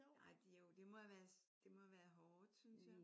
Nej det er jo det må have det må have været hårdt synes jeg